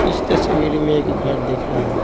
इस तस्वीर में एक घर दीख रहा हैं।